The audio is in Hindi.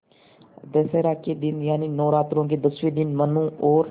दशहरा के दिन यानि नौरात्रों के दसवें दिन मनु और